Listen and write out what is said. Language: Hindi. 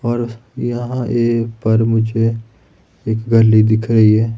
और यहां ये पर मुझे एक गली दिख रही है।